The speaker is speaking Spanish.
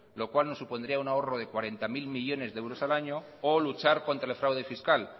lo cual nos supondría un ahorro de cuarenta mil millónes de euros al año o luchar contra el fraude fiscal